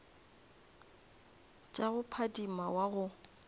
tša go phadima wa go